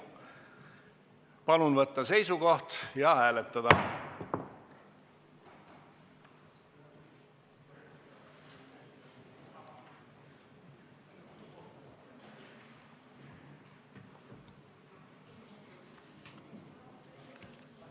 Palun võtta seisukoht ja hääletada!